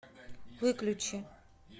выключи